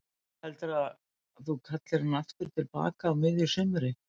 Heldurðu að þú kallir hann aftur til baka á miðju sumri?